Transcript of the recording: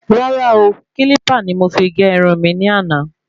Rárá o,Kílípà ni mo fi gé irun mi ní àná